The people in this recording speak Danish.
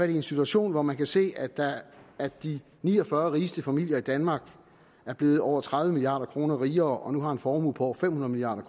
en situation hvor man kan se at de ni og fyrre rigeste familier i danmark er blevet over tredive milliard kroner rigere og nu har en formue på over fem hundrede milliard